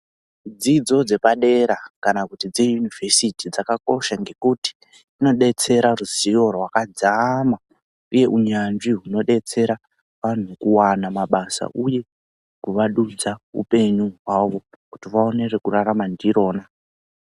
Dzidzo dzepadera kana kuti dzeyunivhesiti dzakakosha ngekuti dzinodetsera ruzivo rwakadzama uye unyanzvi hunodetsera vantu kuwana mabasa uye kuvadudza hupenyu hwavo kuti vaone rekurarama ndirona.